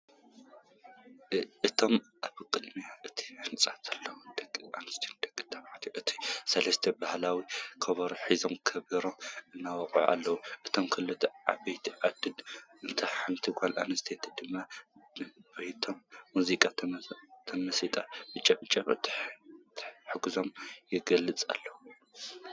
እቶም ኣብ ቅድሚ እቲ ህንፃ ዘለዉ ደቂ ኣነስትዮን ደቂ ተባዕትዮን እቶም ሰለስተ ባህላዊ ከበሮ ሒዞም ከበሮ እናወቅዑ ኣለዉ፡፡ እቶም ክልተ ዓበይቲ ዓድን እታ ሓንቲ ጓል ኣንስተይትን ድማ ብናቶም ሙዚቃ ተመሲጦም ብጨብጨባ ተሓጓሶም ይገልፁ ኣለዉ፡፡